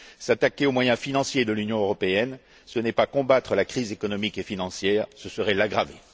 S'attaquer aux moyens financiers de l'Union européenne, ce n'est pas combattre la crise économique et financière, ce serait l'aggraver.